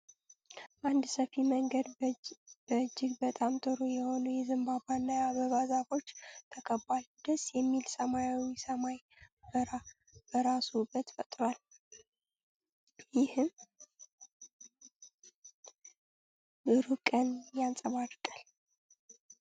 አንድ ሰፊ መንገድ በእጅግ በጣም ጥሩ የሆኑ የዘንባባና የአበባ ዛፎች ተከቧል። ደስ የሚል ሰማያዊ ሰማይ በራሱ ውበት ፈጥሯል፣ ይህም ብሩህ ቀን ያንጸባርቃል።